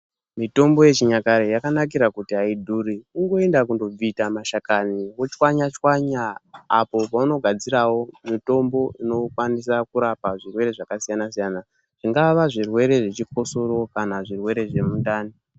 Mitombo yechinyakare yakanakira kuti aidhuri kungoenda kobvita mashakani wochwanyachwanya apo paunogadzirawo mitombo inokwanisa kuramba zvirwere zvakasiyana siyana zvingava zvirwere zvechikosoro kana zvirwere zvemundani .